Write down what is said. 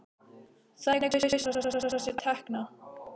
Þannig kaus hann að afla sér tekna.